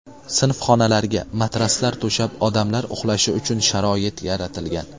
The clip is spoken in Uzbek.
Sinf xonalarga matraslar to‘shab, odamlar uxlashi uchun sharoit yaratilgan.